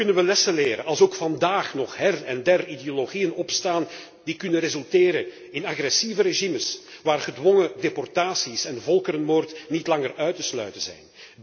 Zo kunnen wij lessen leren als ook vandaag nog her en der ideologieën ontstaan die kunnen resulteren in agressieve regimes, waarbij gedwongen deportatie en volkerenmoord niet langer uit te sluiten zijn.